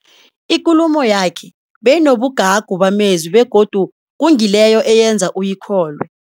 Ikulumo yakhe beyonobugagu bamezwi begodu kungileyo eyenza uyikholwe.